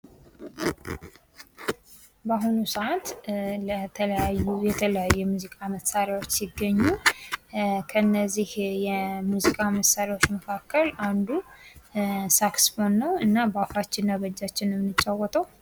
በአሁኑ ሰዓት ለተለያዩ የተለያዩ የሙዚቃ መሳሪያዎች ሲገኙ ከነዚያ የሙዚቃ መሳሪያዎች መካከል አንዱ ሳክስፎን ነው። እና በአፋችን እና በእጃች ነው ምንጫወተው።